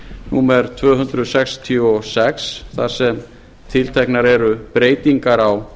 númer tvö hundruð sextíu og sex þar sem tilteknar eru breytingar á